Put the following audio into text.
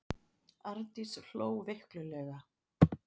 Arndís hló veiklulega.